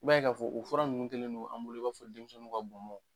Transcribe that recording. I b'a ye ka fɔ, o fura nunnun kɛlen don an bolo i b'a fɔ denmisɛnninw ka bɔnbɔn.